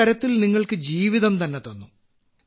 ഒരുതരത്തിൽ നിങ്ങൾക്കു ജീവിതം തന്നെ തന്നു